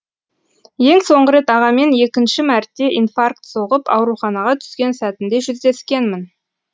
ең соңғы рет ағамен екінші мәрте инфаркт соғып ауруханаға түскен сәтінде жүздескенмін